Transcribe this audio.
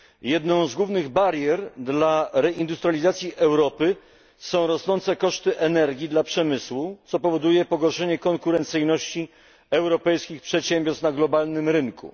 Jedną z głównych barier dla reindustrializacji Europy są rosnące koszty energii dla przemysłu, co powoduje pogorszenie konkurencyjności europejskich przedsiębiorstw na globalnym rynku.